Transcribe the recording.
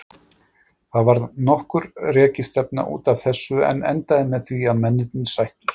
Það varð nokkur rekistefna út af þessu en endaði með því að mennirnir sættust.